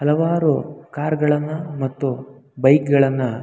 ಹಲವಾರು ಕಾರ್ ಗಳನ್ನ ಮತ್ತು ಬೈಕ್ ಗಳನ್ನ--